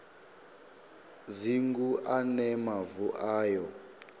dzingu a ne mavu ayo